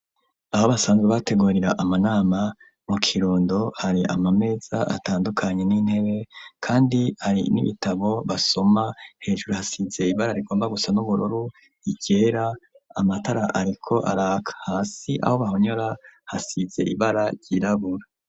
abo basanzwe bategorira amanama mu kirundo hari amameza atandukanye n'intebe kandi ari n'ibitabo basoma hejuru hasize ibara rigomba gusa n'uburoru igera amatara ariko alak hasi aho bahonyura hasize ibara ryirabura